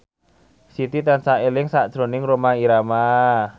Siti tansah eling sakjroning Rhoma Irama